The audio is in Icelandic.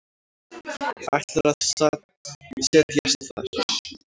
Ætlar að set jast þar.